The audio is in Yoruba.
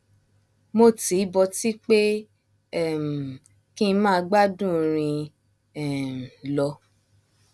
mo tìí bọtí pé um kí n máa gbádùn orin um lọ